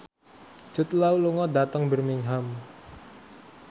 Jude Law lunga dhateng Birmingham